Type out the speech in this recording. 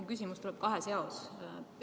Mu küsimus on kahes osas.